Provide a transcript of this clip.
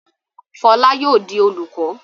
Fọlá yóò di olùkọ́!